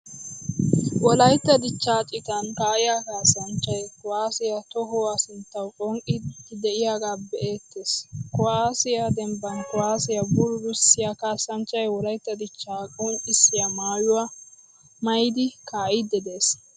Wolaytta dichchaa citan ka'iyaa kasanchchay kuwasiya tohuwaa sinttawu phonqqidi de'iyage beetees. Kuwasiyaa dembban kuwasiyaa bululisiya kasanchchay wolaytta dichcha qonccisiyaa maayuwaa maayidi ka'idi de'ees.